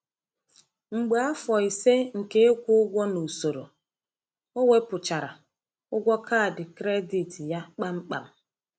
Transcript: Mgbe afọ ise nke ịkwụ ụgwọ n’usoro, o wepụchara ụgwọ kaadị kredit ya kpamkpam.